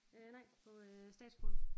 Øh nej på øh Statsskolen